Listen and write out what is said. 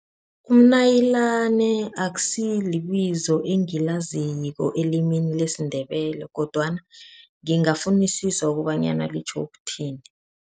Umnayilani akusilo libizo engilaziko elimini lesiNdebele kodwana ngingafunisisa kobanyana litjho ukuthini.